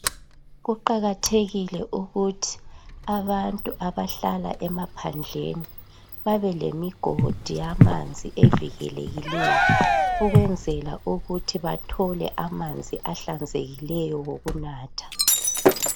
Kuqakathekile ukuthi abantu abahlala emaphandleni babelemigodi yamanzi evikelekileyo ukwenzela ukuthi bathole amanzi ahlanzekileyo okunatha